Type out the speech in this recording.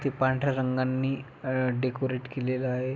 इथे पांढऱ्या रंगांनी अ डेकोरेट केलेला आहे.